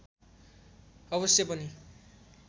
अवश्य पनि